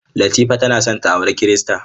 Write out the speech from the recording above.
Latifa tana son ta auri Kirista.